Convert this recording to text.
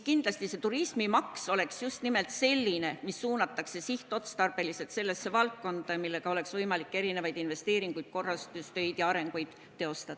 Kindlasti see turismimaks oleks just nimelt selline, mis suunatakse sihtotstarbeliselt sellesse valdkonda, millega oleks võimalik investeeringuid, korrastustöid jms teostada.